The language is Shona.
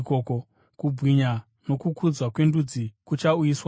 Kubwinya nokukudzwa kwendudzi kuchauyiswa mariri.